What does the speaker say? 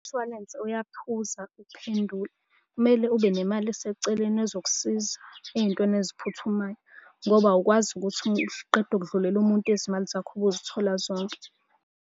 Umshwalensi uyaphuza ukuphendula. Kumele ube nemali eseceleni ezokusiza ey'ntweni eziphuthumayo ngoba awukwazi ukuthi uqeda ukudlulela umuntu izimali zakho ube uzithola zonke.